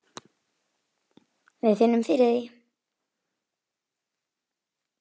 Við finnum fyrir því.